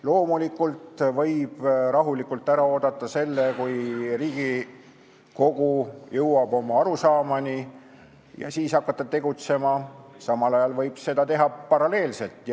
Loomulikult võib rahulikult ära oodata selle, kuni Riigikogu jõuab oma arusaamani, ja hakata siis tegutsema, aga seda võib teha ka paralleelselt.